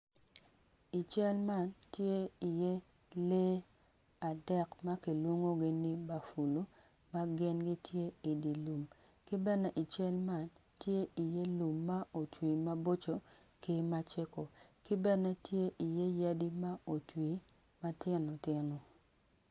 I cal man tye iye lee adek ma kilwongogi ni bafulo ma gin gitye idye lum ki bene i cal man tye iye lum ma otwi maboco ki macego ki bene tye iye yadi ma otwi matino tino.